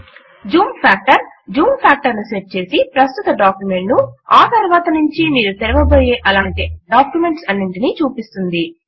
Zoom factor zoom factor ను set చేసి ప్రస్తుత డాక్యుమెంట్ ను మరియు ఆ తరువాతి నుంచి మీరు తెరవబోయే అదే లాంటి అన్ని డాక్యుమెంట్స్ నూ చూపిస్తుంది